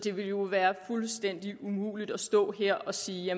det ville jo være fuldstændig umuligt at stå her og sige